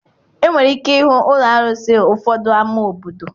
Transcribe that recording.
Enwere ike ịhụ ụlọ arụsị ụfọdụ ámá obodo.